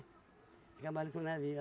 Acabaram com o navio.